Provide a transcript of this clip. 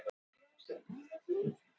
úrkomumælir og mælaskýli á hlaðinu